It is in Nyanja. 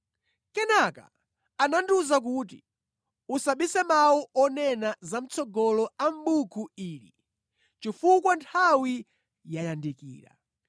Kenaka anandiwuza kuti, “Usabise mawu onena zamʼtsogolo a mʼbuku ili chifukwa nthawi yayandikira.